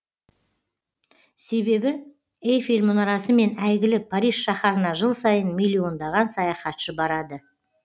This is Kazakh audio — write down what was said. себебі эйфель мұнарасымен әйгілі париж шаһарына жыл сайын миллиондаған саяхатшы барады